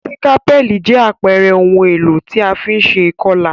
Sikapẹli jẹ àpere oun èlò ti a fi n se ìkolà